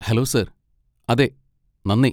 Hello, sir! അതെ, നന്ദി.